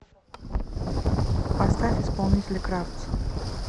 поставь исполнителя кравц